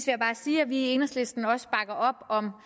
jeg bare sige at vi i enhedslisten også bakker op om